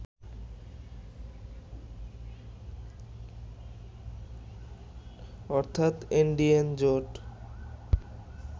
অর্থাৎ এনডিএন জোট